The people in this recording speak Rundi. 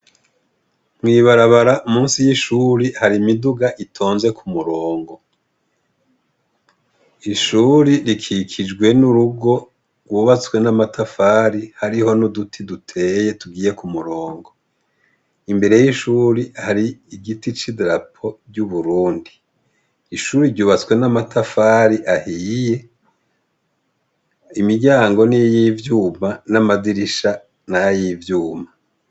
Mwibarabara musi y'ishuri hari imiduga itonze ku murongo, ishuri rikikijwe n'urugo rwubatswe n'amatafari hariho n'uduti duteye tugiye ku murongo, imbere y'ishuri hari igiti c'i drapo ry'uburundi, ishuri ryubatswe n'amatafari ahiye imiryango ni yivyuma n'amadirisha nay'ivyuma.